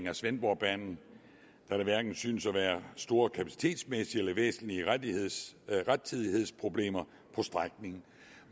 af svendborgbanen da der hverken synes at være store kapacitetsmæssige eller væsentlige rettidighedsproblemer på strækningen